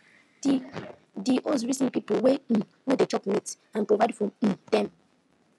di di host reason people wey um no dey chop meat and provide food for um dem